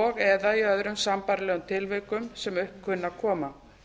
og eða í öðrum sambærilegum tilvikum sem upp kunna að koma